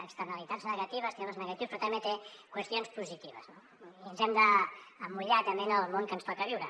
externalitats negatives temes negatius però també té qüestions positives no i ens hem d’emmotllar també en el món que ens toca viure